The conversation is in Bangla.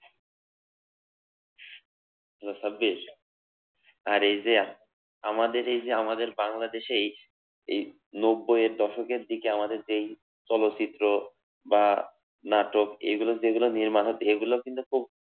আচ্ছা সাব্বির, আর এই যে আমাদের এই যে আমাদের বাংলাদেশে এই নব্বইয়ের দশকের দিকে আমাদের যেই চলচ্চিত্র বা নাটক এগুলো যেগুলো নির্মাণ হতো এগুলো কিন্তু খুব